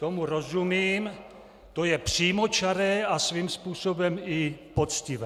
Tomu rozumím, to je přímočaré a svým způsobem i poctivé.